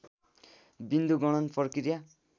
विन्दु गणन प्रक्रिया